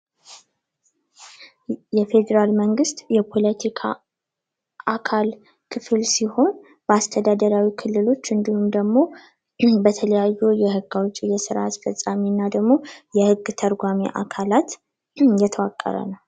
የፌዴራል መንግስት የፖለቲካ አካል ክፍል ሲሆን አስተዳደራዊ ክልሎች እንድሁም ደግሞ የተለያዩ የህግ አውጭ የስራ አስፈጻሚዎች እና ደግሞ የህግ ተርጓሚ አካላት የተዋቀረ ነው።